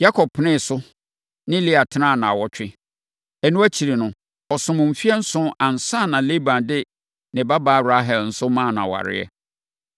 Yakob penee so ne Lea tenaa nnawɔtwe. Ɛno akyiri, ɔsomm mfeɛ nson ansa na Laban de ne babaa Rahel nso maa no wareeɛ.